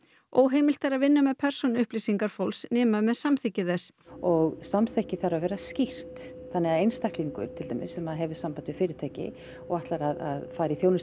óheimilt er að vinna með persónuupplýsingar fólks nema með samþykki þess og samþykkið þarf að vera skýrt þannig að einstaklingur sem hefur samband við fyrirtæki og ætlar að fara í þjónustu